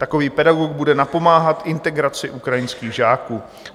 Takový pedagog bude napomáhat integraci ukrajinských žáků.